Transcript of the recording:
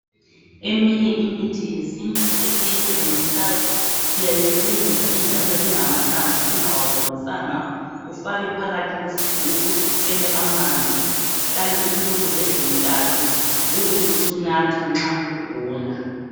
Eminye imithi yesintu esiyisebenzisayo siyayisebenzisa injalo ingamahlamvu singawawomisanga ufake phakathi kwesigubhu uthele amanzi kuhlale insuku ezintathu ubusunatha nxa ugula.